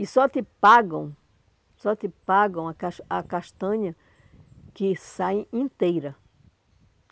E só te pagam, só te pagam a cas a castanha que sai inteira.